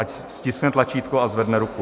Ať stiskne tlačítko a zvedne ruku.